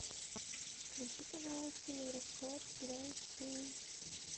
включи пожалуйста евроспорт два эйч ди